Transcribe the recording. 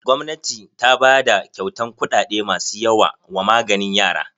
Gwamnati ta bada kyautan kuɗaɗe masu yawa wa maganin yara.